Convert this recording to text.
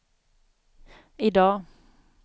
idag